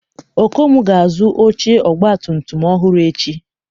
Okon ga-azụ oche ọgbatumtum ọhụrụ echi